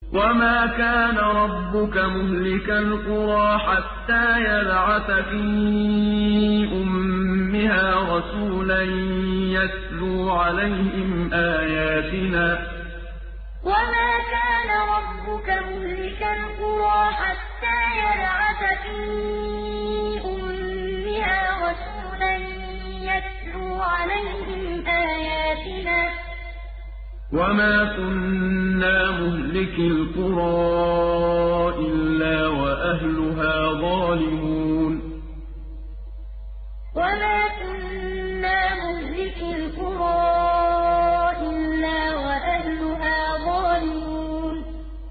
وَمَا كَانَ رَبُّكَ مُهْلِكَ الْقُرَىٰ حَتَّىٰ يَبْعَثَ فِي أُمِّهَا رَسُولًا يَتْلُو عَلَيْهِمْ آيَاتِنَا ۚ وَمَا كُنَّا مُهْلِكِي الْقُرَىٰ إِلَّا وَأَهْلُهَا ظَالِمُونَ وَمَا كَانَ رَبُّكَ مُهْلِكَ الْقُرَىٰ حَتَّىٰ يَبْعَثَ فِي أُمِّهَا رَسُولًا يَتْلُو عَلَيْهِمْ آيَاتِنَا ۚ وَمَا كُنَّا مُهْلِكِي الْقُرَىٰ إِلَّا وَأَهْلُهَا ظَالِمُونَ